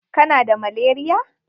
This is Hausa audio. Kana da malaria?